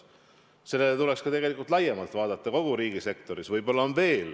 Sellele tuleks tegelikult laiemalt vaadata kogu riigisektoris.